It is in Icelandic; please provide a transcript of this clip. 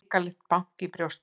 Hrikalegt bank í brjóstinu.